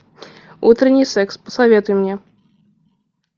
утренний секс посоветуй мне